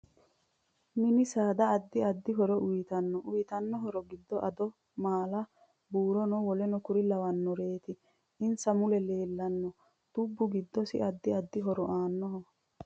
M8ni saada addi addi horo uyiitannno uyiitanno horo giddo addo maala buurona woleno kuri lawanoreeti insa mule leelanno dubbi giddosi addi addi horo aanoho